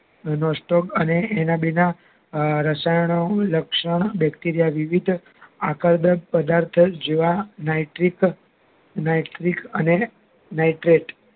most top અને એના અમ ભેગા રસાયણ નું રક્ષણ Bacteria વિવિધ આકારમય પ્રદાથો જેવા Nitric Nitric અને Nitride